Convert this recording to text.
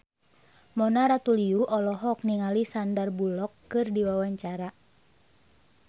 Mona Ratuliu olohok ningali Sandar Bullock keur diwawancara